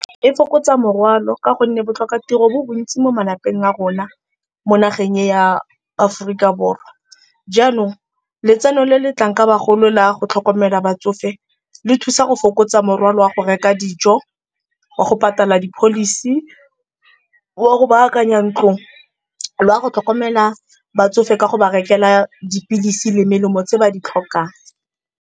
E fokotsa morwalo ka gonne botlhokatiro bo bontsi mo malapeng a rona, mo nageng e ya Aforika Borwa. Jaanong letseno le le tlang ka bagolo la go tlhokomela batsofe le thusa go fokotsa tsa morwalo wa go reka dijo, wa go patela di-policy, wa go baakanya ntlo le wa go tlhokomela batsofe ka go ba rekela dipilisi le melemo tse ba di tlhokang.